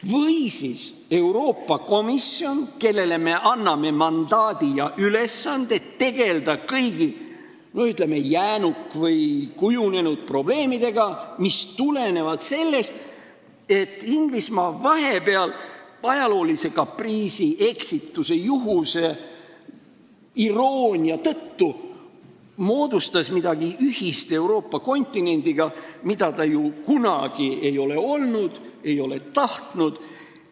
Või siis Euroopa komisjon, kellele me anname mandaadi ja ülesanded tegelda kõigi, ütleme, jäänuk- või kujunenud probleemidega, mis tulenevad sellest, et Inglismaa vahepeal ajaloolise kapriisi, eksituse, juhuse või iroonia tõttu moodustas midagi ühist Euroopa kontinendiga, mida ta ju kunagi ei ole olnud või ei ole tahtnud olla?